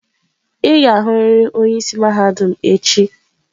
Ị ga-ahụrịrị onye isi mahadum echi.